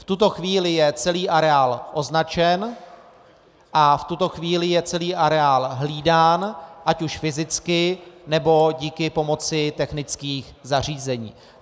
V tuto chvíli je celý areál označen a v tuto chvíli je celý areál hlídán ať už fyzicky, nebo díky pomoci technických zařízení.